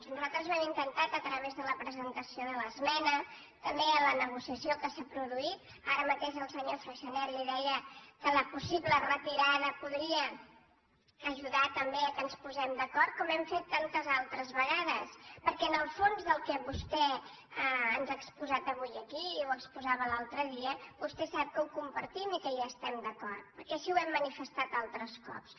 nosaltres ho hem intentat a través de la presentació de l’esmena també a la negociació que s’ha produït ara mateix el senyor freixanet li deia que la possible retirada podria ajudar també que ens posés·sim d’acord com hem fet tantes altres vegades perquè el fons del que vostè ens ha exposat avui aquí i exposava l’altre dia vostè sap que el compartim i que hi estem d’acord perquè així ho hem manifestat altres cops